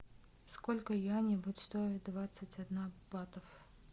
сколько юаней будет стоить двадцать одна батов